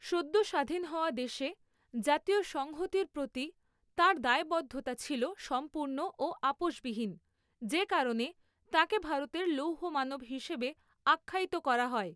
সদ্য স্বাধীন হওয়া দেশে জাতীয় সংহতির প্রতি তাঁর দায়বদ্ধতা ছিল সম্পূর্ণ ও আপোসবিহীন, যে কারণে তাঁকে ভারতের লৌহ মানব হিসেবে আখ্যায়িত করা হয়।